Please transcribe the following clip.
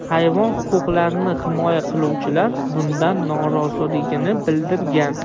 Hayvon huquqlarini himoya qiluvchilar bundan noroziligini bildirgan.